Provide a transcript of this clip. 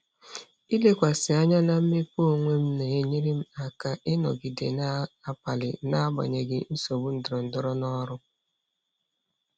Ilekwasị anya na mmepe onwe m na-enyere m aka ịnọgide na-akpali n'agbanyeghị nsogbu ndọrọndọrọ n'ọrụ.